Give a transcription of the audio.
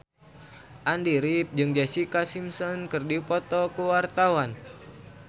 Andy rif jeung Jessica Simpson keur dipoto ku wartawan